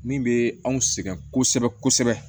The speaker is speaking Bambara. Min bɛ anw sɛgɛn kosɛbɛ kosɛbɛ